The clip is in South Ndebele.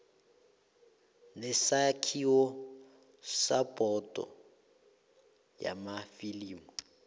nesakhiwo sebhodo yamafilimu